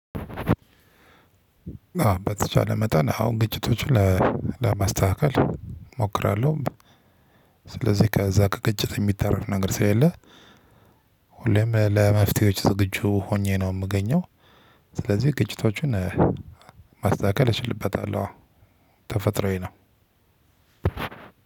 በተቻለ መጠን አሁን ግጭቶችን ለማስተካከል እሞክራለሁ። ስለዚህ ከዛ ከግጭት የሚተረፍ ነገር ስለሌለ። ሁሌም ለመፍትሄዎች ዝግጁ ሆኜ ነው የምገኘው። ስለዚህ ግጭቶቹን ማስተካከል እችልበታለሁ። አዎ። ተፈጥሮዬ ነው።